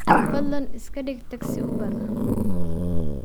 fadlan iska dhig taksi uber ah